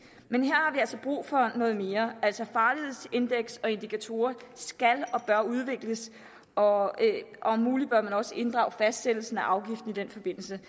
altså brug for noget mere farlighedsindeks og indikatorer skal og bør udvikles og om muligt bør man også inddrage fastsættelsen af afgiften i den forbindelse